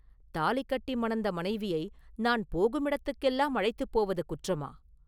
தாலி கட்டி மணந்த மனைவியை நான் போகுமிடத்துக்கெல்லாம் அழைத்துப் போவது குற்றமா?